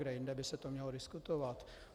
Kde jinde by se to mělo diskutovat?